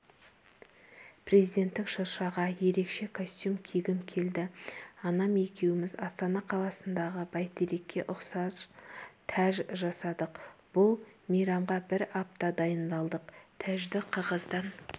президенттік шыршаға ерекше костюм кигім келді анам екеуміз астана қаласындағы бәйтерекке ұқсас тәж жасадық бұл мейрамға бір апта дайындалдық тәжді қағаздан